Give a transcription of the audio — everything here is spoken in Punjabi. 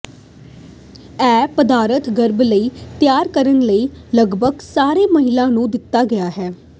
ਇਹ ਪਦਾਰਥ ਗਰਭ ਲਈ ਤਿਆਰ ਕਰਨ ਲਈ ਲਗਭਗ ਸਾਰੇ ਮਹਿਲਾ ਨੂੰ ਦਿੱਤਾ ਗਿਆ ਹੈ